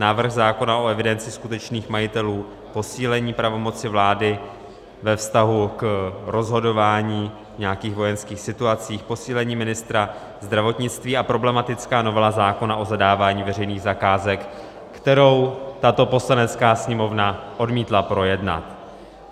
Návrh zákona o evidenci skutečných majitelů, posílení pravomoci vlády ve vztahu k rozhodování v nějakých vojenských situacích, posílení ministra zdravotnictví a problematická novela zákona o zadávání veřejných zakázek, kterou tato Poslanecká sněmovna odmítla projednat.